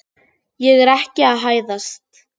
Ég er ekki að hæðast.